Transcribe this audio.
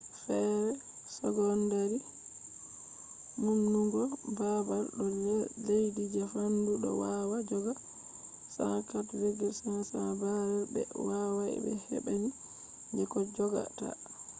fere secondary humtugo babal do lesti je fandu do wawa joga 104,500 barrels be wawai be hebbini je koh jogata